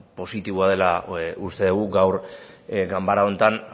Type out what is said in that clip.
positiboa dela uste dugu gaur ganbara honetan